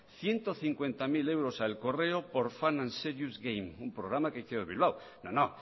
ciento cincuenta mil euros al correo por fun and serious game un programa que no no